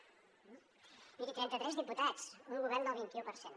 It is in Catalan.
miri trenta tres diputats un govern del vint i u per cent